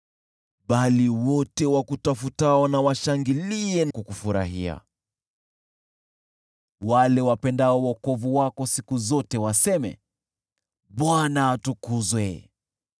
Lakini wote wakutafutao washangilie na kukufurahia, wale wapendao wokovu wako siku zote waseme, “ Bwana atukuzwe!”